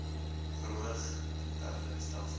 verhoog interne stelsels